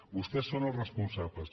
vostès són els responsables